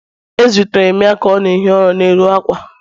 A zutere m ya ka ọ na-ehi ụra n'elu ákwà